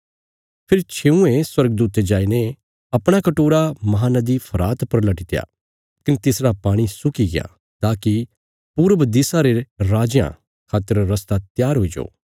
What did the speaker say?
फेरी छेऊंये स्वर्गदूते जाईने अपणा कटोरा महानदी फरात पर लटीत्या कने तिसरा पाणी सुक्की गया ताकि पूरब दिशा रे राजयां खातर रस्ता त्यार हुईजो